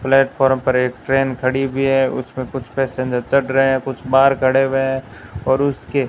platform पर एक train खड़ी हुई है उसमें कुछ पैसेंजर चढ़ रहे हैं कुछ बाहर खड़े हुए हैं और उसके --